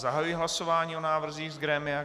Zahajuji hlasování o návrzích z grémia.